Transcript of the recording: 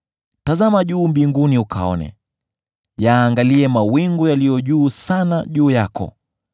Tazama juu mbinguni ukaone; yaangalie mawingu yaliyo juu sana juu yako.